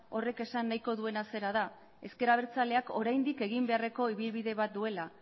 horrek esan nahiko duena zera da ezker abertzaleak oraindik egin beharreko ibilbide bat duela